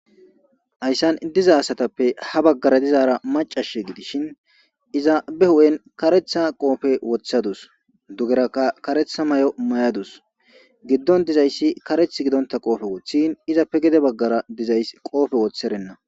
Ayssan diza asatappe ha baggara dizaara macash gidishin iza be hu'en karetha qoofe woththadus dugerakka karetha may'o may'adus giddon dizayssi kareth gidonta qoofe wothin izappe gide baggara dizays qoofe wotherenna.